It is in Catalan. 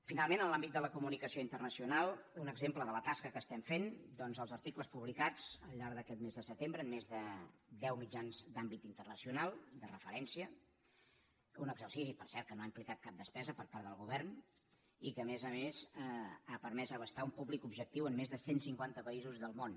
finalment en l’àmbit de la comunicació internacional un exemple de la tasca que estem fent doncs els articles publicats al llarg d’aquest mes de setembre en més de deu mitjans d’àmbit internacional de referència un exercici per cert que no ha implicat cap despesa per part del govern i que a més a més ha permès abastar un públic objectiu en més de cent cinquanta països del món